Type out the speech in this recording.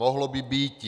Mohlo by býti.